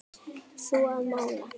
Þú að mála.